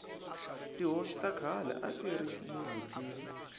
tihosi ta khale atiri ni vutivi